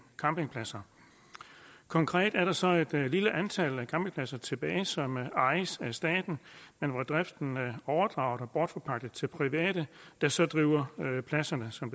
campingpladser konkret er der så et lille antal af campingpladser tilbage som ejes af staten men hvor driften er overdraget og bortforpagtet til private der så driver pladserne som